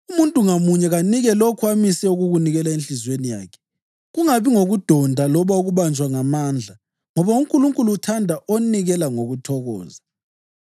Umuntu ngamunye kanike lokho amise ukukunikela enhliziyweni yakhe, kungabi ngokudonda loba ukubanjwa ngamandla ngoba uNkulunkulu uthanda onikela ngokuthokoza.